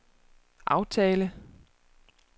aftale